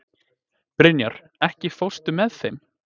Brynjar, ekki fórstu með þeim?